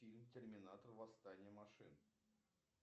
фильм терминатор восстание машин